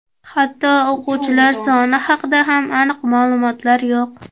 Hatto o‘quvchilar soni haqida ham aniq ma’lumotlar yo‘q.